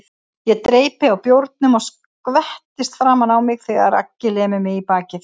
Ég dreypi á bjórnum og skvettist framan á mig þegar Aggi lemur mig í bakið.